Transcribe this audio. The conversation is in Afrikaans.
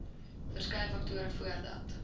verskeie faktore voordat